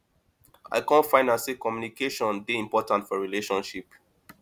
i kom find out sey communication dey important for relationship